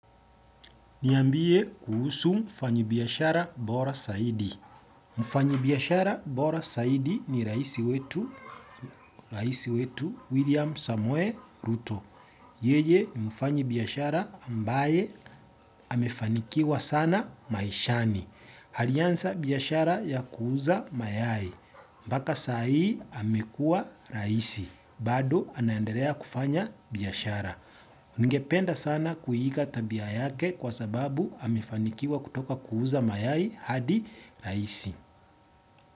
Niambie kuhusu mfanyibiashara bora zaidi. Mfanyi biashara bora zaidi ni raisi wetu William Samuel Ruto. Yeye ni mfanyi biashara ambaye amefanikiwa sana maishani. Alianza biashara ya kuuza mayai. Mpaka saa hii amekuwa raisi. Bado anaendelea kufanya biashara. Ninge penda sana kuiiga tabia yake kwa sababu amefanikiwa kutoka kuuza mayai hadi raisi.